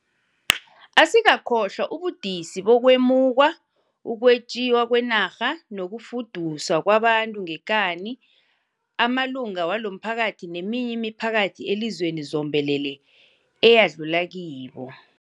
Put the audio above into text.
Asikakhohlwa ubudisi bokwemukwa, ukwetjiwa kwenarha nokufuduswa kwabantu ngekani amalunga walomphakathi neminye imiphakathi elizweni zombelele eyadlula kibo.